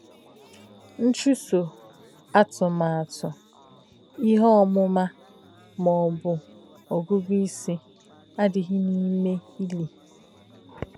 Nchùsō, àtùmàtù, íhe òmùmà ma ọ̀ bū ògūgū ísī, àdíghị̄ n’íme ílī.